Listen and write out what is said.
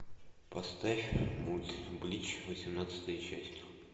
поставь мульт блич восемнадцатая часть